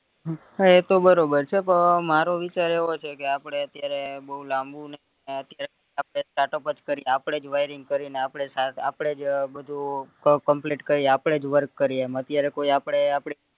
હા એ તો બરોબર છે પણ મારો વિચાર એવો છે કે આપડે ત્યારે બૌ લાંબુ ને અત્યારે startup જ કરીએ આપડે જ wiring કરીને આપદેજ સ આપદેજ ય બધુય complete કરી આપદેજ work કરીએ એમજ અત્યારે કોઈ આપડે